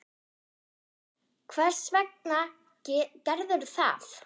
Jóhann: Hvers vegna gerðirðu það?